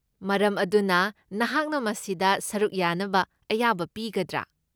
ꯃꯔꯝ ꯑꯗꯨꯅ, ꯅꯍꯥꯛꯅ ꯃꯁꯤꯗ ꯁꯔꯨꯛ ꯌꯥꯅꯕ ꯑꯌꯥꯕ ꯄꯤꯒꯗ꯭ꯔꯥ?